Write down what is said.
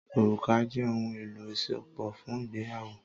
Òrùka jẹ́ ohun-èlò isopo fún ìgbéyàwó.